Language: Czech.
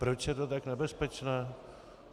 Proč je to tak nebezpečné?